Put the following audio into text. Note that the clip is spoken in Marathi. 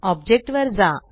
ऑब्जेक्ट वर जा